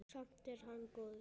Samt er hann góður.